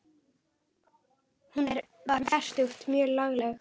Hún var um fertugt og mjög lagleg.